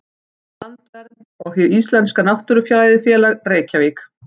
Landvernd og Hið íslenska náttúrufræðifélag, Reykjavík.